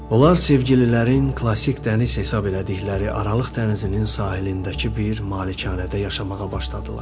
Onlar sevgililərin klassik dəniz hesab elədikləri Aralıq dənizinin sahilindəki bir malikanədə yaşamağa başladılar.